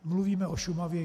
Mluvíme o Šumavě.